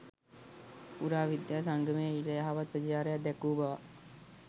පුරාවිද්‍යා සංගමය ඊට යහපත් ප්‍රතිචාරයක් දැක්වූ බවක්